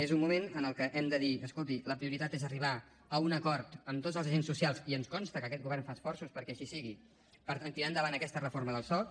és un moment en què hem de dir escolti la prioritat és arribar a un acord amb tots els agents socials i ens consta que aquest govern fa esforços perquè així sigui per tirar endavant aquesta reforma del soc